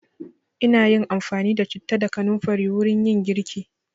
Ina yin amfani da citta da kanamfari wurin yin girki.